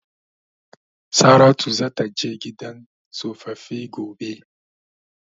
Saratu zata je gidan tsofaffi gobe.